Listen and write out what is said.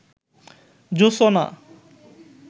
জোছনা